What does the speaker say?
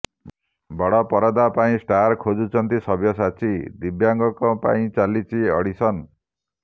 ବଡ଼ ପରଦା ପାଇଁ ଷ୍ଟାର୍ ଖୋଜୁଛନ୍ତି ସବ୍ୟସାଚୀ ଦିବ୍ୟାଙ୍ଗଙ୍କ ପାଇଁ ଚାଲିଛି ଅଡ଼ିସନ୍